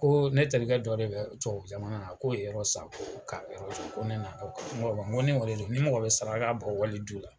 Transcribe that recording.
Ko ne terikɛ dɔ de bɛ tubabu jamana na ko ye yɔrɔ san ka yɔrɔ jɔ, n ko ni o de don ni mɔgɔ be saraka bɔ wali du la.